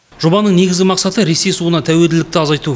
жобаның негізгі мақсаты ресей суына тәуелділікті азайту